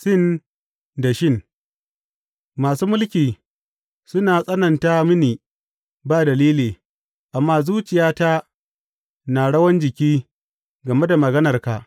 Sin da Shin Masu mulki suna tsananta mini ba dalili, amma zuciyata na rawan jiki game da maganarka.